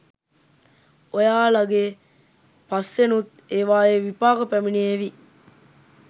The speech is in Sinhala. ඔයාලගෙ පස්සෙනුත් ඒවායේ විපාක පැමිණේවි.